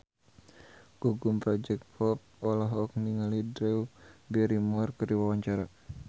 Gugum Project Pop olohok ningali Drew Barrymore keur diwawancara